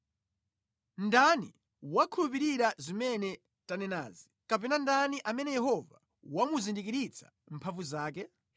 Ndani wakhulupirira zimene tanenazi; kapena ndani amene Yehova wamuzindikiritsa mphamvu zake?